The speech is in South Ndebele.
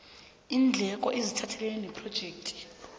iindleko eziphathelene nephrojekthi